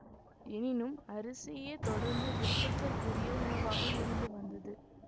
எனினும் அரிசியே தொடர்ந்து விருப்பத்துக்குரிய உணவாக இருந்து வந்தது